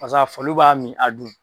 Paseke faliw b'a min, a dun.